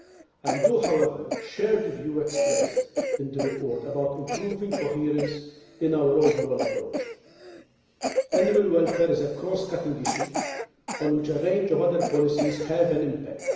I do, however, share the view expressed in the report about improving coherence in our overall approach. Animal welfare is a cross cutting issue on which a range of other policies have an impact.